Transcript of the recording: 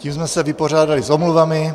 Tím jsme se vypořádali s omluvami.